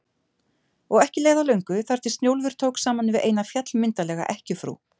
Og ekki leið á löngu þar til Snjólfur tók saman við eina, fjallmyndarlega ekkjufrú